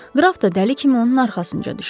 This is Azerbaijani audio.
Qraf da dəli kimi onun arxasınca düşdü.